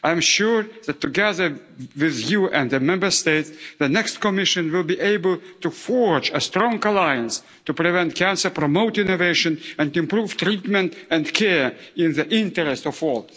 I'm sure that, together with you and the Member States, the next Commission will be able to forge a strong alliance to prevent cancer, promote innovation and improve treatment and care in the interests of all.